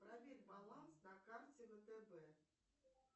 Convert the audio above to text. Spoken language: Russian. проверь баланс на карте втб